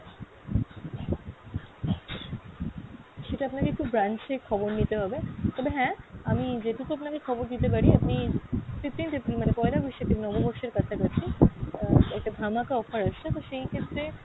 সেটা আপনাকে একটু branch এ খবর নিতে হবে, তবে হ্যাঁ আমি যেটুকু আপনাকে খবর দিতে পারি আপনি fifteenth April মানে পয়লা বৈশাখে নববর্ষের কাছাকাছি আহ একটা ধামাকা offer আসছে তো সেই ক্ষেত্রে